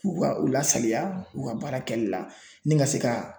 U ka u lasaliya u ka baara kɛli la ni ka se ka